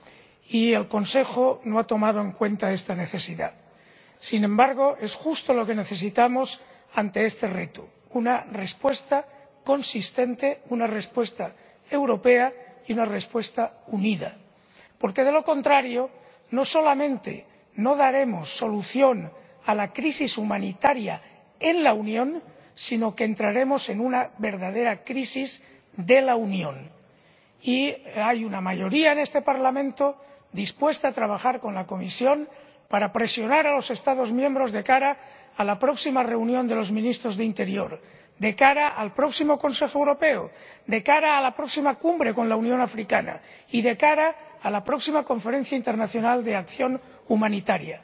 Señora Presidenta, hace una semana, el señor Juncker decía que necesitamos más Europa en la Unión y más unión en la Europa, y el Consejo no ha tomado en cuenta esta necesidad. Sin embargo, es justo lo que necesitamos ante este reto una respuesta consistente, una respuesta europea y una respuesta unida. Porque, de lo contrario, no solamente no daremos solución a la crisis humanitaria en la Unión, sino que entraremos en una verdadera crisis de la Unión. Y hay una mayoría en este Parlamento dispuesta a trabajar con la Comisión para presionar a los Estados miembros de cara a la próxima reunión de los ministros de Interior, de cara al próximo Consejo Europeo, de cara a la próxima Cumbre de la Unión Africana y de cara a la próxima conferencia internacional de acción humanitaria.